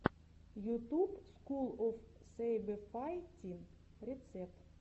ютуб скул оф сэйбэфайтин рецепт